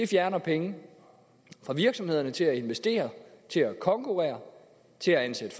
fjerner penge fra virksomhederne til at investere til at konkurrere til at ansætte